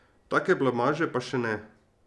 Take blamaže pa še ne.